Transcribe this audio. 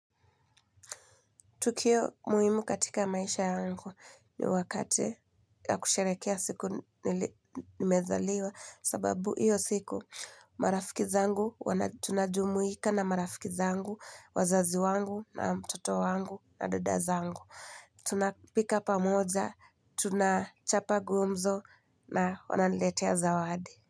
Tukio muhimu katika maisha yangu ni wakati ya kusherekea siku nimezaliwa sababu iyo siku marafiki zangu, tunajumuika na marafiki zangu, wazazi wangu na mtoto wangu na dada zangu. Tunapika pamoja, tunachapa gumzo na wananiletea zawadi.